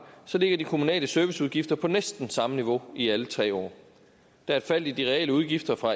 ligger de kommunale serviceudgifter på næsten samme niveau i alle tre år der er et fald i de reelle udgifter fra